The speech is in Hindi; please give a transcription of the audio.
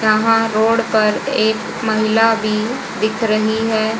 यहां रोड पर एक महिला भी दिख रही है।